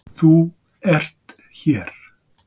ÞÚ ERT hér.